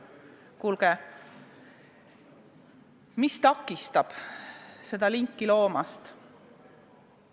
Kuulge, mis takistab seda linki loomast?